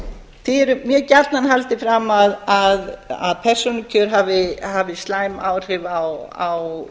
er mjög gjarnan haldið fram að persónukjör hafi slæm áhrif á